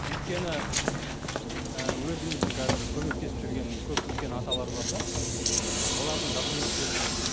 өйткені ііі өзіміздің қазір көмектесіп жүрген көп үлкен аталар бар да үлкен ата олардың докуметтері жоқ